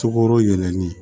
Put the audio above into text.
Sukoro yɛlɛli